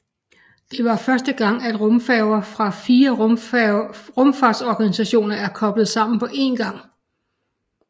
Det var første gang at rumfartøjer fra fire rumfartsorganisationer er koblet sammen på én gang